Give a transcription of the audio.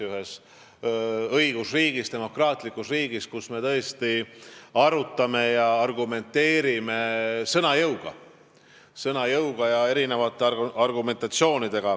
Ühes õigusriigis, demokraatlikus riigis peabki olema selline debatt, kus me tõesti asja arutame, kasutame sõna jõudu ja erinevaid argumentatsioone.